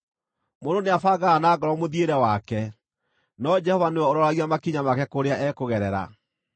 Mũndũ nĩabangaga na ngoro mũthiĩre wake, no Jehova nĩwe ũroragia makinya make kũrĩa ekũgerera.